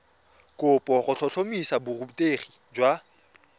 kopo go tlhotlhomisa borutegi jwa